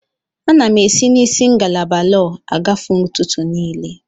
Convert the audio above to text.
Ana m esi na isi ngalaba lọọ agafe ụtụtụ niile.